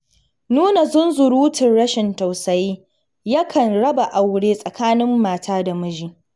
Nuna zunzurutun rashin tausayi yakan raba aure tsakanin mata da miji.